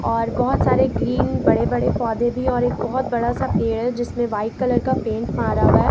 और बहुत सारे ग्रीन बड़े बड़े पौधे भी और एक बहुत बड़ा सा पेड़ है जिसमें व्हाइट कलर का पेंट मारा हुआ है।